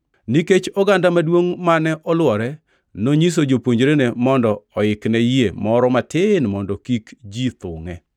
Nikech oganda maduongʼ mane olwore, nonyiso jopuonjrene mondo oikne yie moro matin mondo kik ji thungʼe.